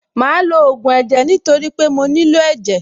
Màá lo ògùn ẹ̀jẹ̀ nítorí pé mo nílò ẹ̀jẹ̀.